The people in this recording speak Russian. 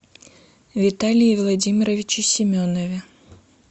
виталии владимировиче семенове